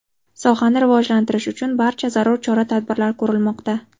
Sohani rivojlantirish uchun barcha zarur chora-tadbirlar ko‘rilmoqda.